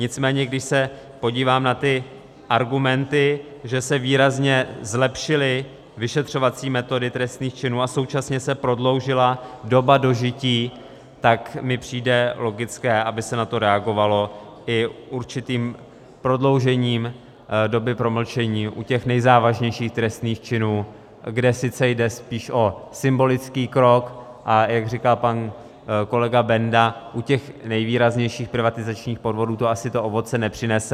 Nicméně když se podívám na ty argumenty, že se výrazně zlepšily vyšetřovací metody trestných činů a současně se prodloužila doba dožití, tak mi přijde logické, aby se na to reagovalo i určitým prodloužením doby promlčení u těch nejzávažnějších trestných činů, kde sice jde spíš o symbolický krok, a jak říkal pan kolega Benda, u těch nejvýraznějších privatizačních podvodů to asi to ovoce nepřinese.